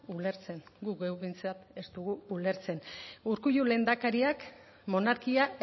ulertzen gu geuk behintzat ez dugu ulertzen urkullu lehendakariak monarkia